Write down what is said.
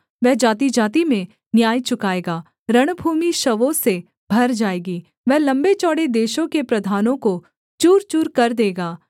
वह जातिजाति में न्याय चुकाएगा रणभूमि शवों से भर जाएगी वह लम्बे चौड़े देशों के प्रधानों को चूर चूरकर देगा